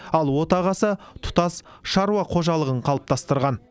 ал отағасы тұтас шаруа қожалығын қалыптастырған